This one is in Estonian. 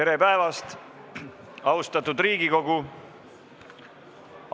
Tere päevast, austatud Riigikogu!